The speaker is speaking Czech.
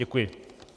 Děkuji.